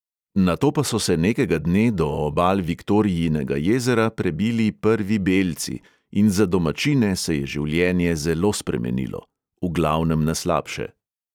Nato pa so se nekega dne do obal viktorijinega jezera prebili prvi belci in za domačine se je življenje zelo spremenilo ... v glavnem na slabše.